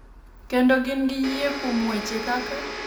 Kendo gin gi yie kuom weche kaka,